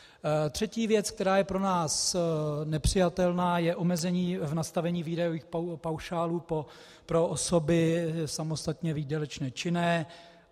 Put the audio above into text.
Třetí věc, která je pro nás nepřijatelná, je omezení v nastavení výdajových paušálů pro osoby samostatně výdělečně činné.